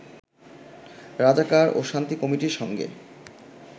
রাজাকার ও শান্তি কমিটির সঙ্গে